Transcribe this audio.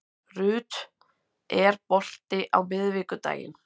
Ruth, er bolti á miðvikudaginn?